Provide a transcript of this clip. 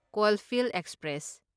Coalfield express